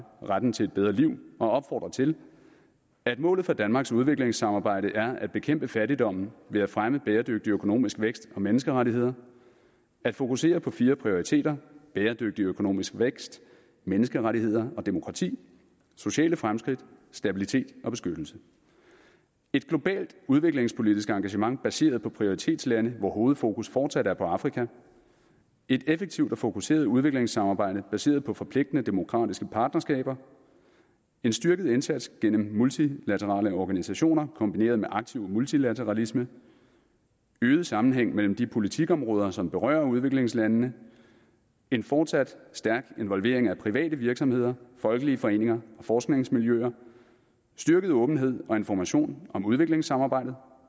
retten til et bedre liv og opfordrer til at målet for danmarks udviklingssamarbejde er at bekæmpe fattigdommen ved at fremme bæredygtig økonomisk vækst og menneskerettigheder at fokusere på fire prioriteter bæredygtig økonomisk vækst menneskerettigheder og demokrati sociale fremskridt stabilitet og beskyttelse et globalt udviklingspolitisk engagement baseret på prioritetslande hvor hovedfokus fortsat er på afrika et effektivt og fokuseret udviklingssamarbejde baseret på forpligtende demokratiske partnerskaber en styrket indsats gennem multilaterale organisationer kombineret med aktiv multilateralisme øget sammenhæng mellem de politikområder som berører udviklingslandene en fortsat stærk involvering af private virksomheder folkelige foreninger og forskningsmiljøer styrket åbenhed og information om udviklingssamarbejdet